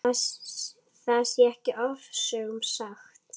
Það sé ekki ofsögum sagt.